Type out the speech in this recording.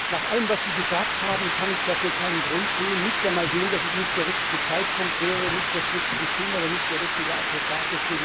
Nach allem, was Sie gesagt haben, kann ich dafür keinen Grund sehen, nicht einmal den, dass es nicht der richtige Zeitpunkt wäre, nicht das richtige Thema oder nicht der richtige Adressat.